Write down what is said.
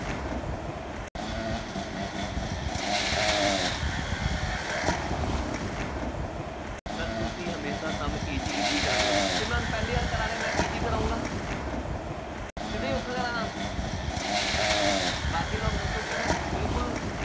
sir ਤੁਸੀਂ ਹਮੇਸ਼ਾ sum easy easy ਕਰਾਉਂਦੇ ਹੋ, ਅਤੇ ਮੈਂ ਹੁਣ ਪਹਿਲੀ ਵਾਰ ਕਰਾ ਰਿਹਾ, ਮੈਂ easy ਕਰਾਊਂਗਾ, ਸਿੱਧੇ ਹੀ ਔਖਾ ਕਰਾ ਦਿਆਂ ਬਾਕੀ ਲੋਕ ਦੱਸੋ ਕਿ ਮੈਂ ਬਿਲਕੁੱਲ